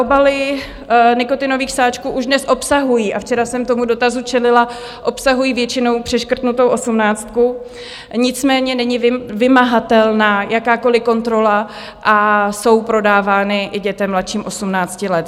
Obaly nikotinových sáčků už dnes obsahují, a včera jsem tomu dotazu čelila, obsahují většinou přeškrtnutou osmnáctku, nicméně není vymahatelná jakákoliv kontrola a jsou prodávány i dětem mladším 18 let.